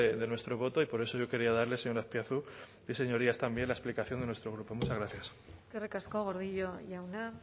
de nuestro voto y por eso yo quería darle señor azpiazu y señorías también la explicación de nuestro grupo muchas gracias eskerrik asko gordillo jauna